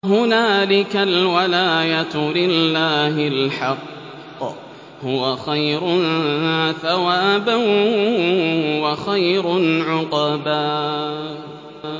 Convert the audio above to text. هُنَالِكَ الْوَلَايَةُ لِلَّهِ الْحَقِّ ۚ هُوَ خَيْرٌ ثَوَابًا وَخَيْرٌ عُقْبًا